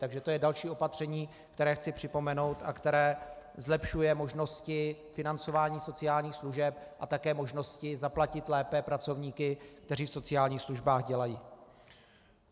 Takže to je další opatření, které chci připomenout a které zlepšuje možnosti financování sociálních služeb a také možnosti zaplatit lépe pracovníky, kteří v sociálních službách dělají.